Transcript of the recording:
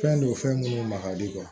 Fɛn don fɛn minnu ma ka di